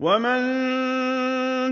وَمَن